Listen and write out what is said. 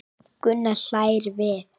Gunnar hlær við.